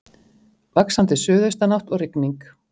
Vaxandi suðaustanátt og rigning